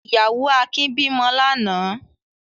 Ìyàwó Akin bímọ lánàá?